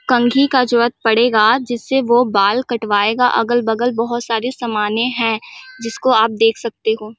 कंघी का जूअत परे गया जिस से वो बाल कटवाए गया अगल-बगल बहुत सारे समाने है जिसको आप देख सकते हो।